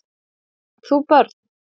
Átt þú börn?